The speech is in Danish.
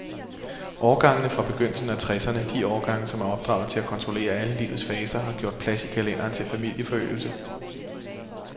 Årgangene fra begyndelsen af tresserne, de årgange, som er opdraget til at kontrollere alle livets faser, har gjort plads i kalenderen til familieforøgelse.